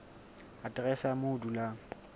aterese ya moo o dulang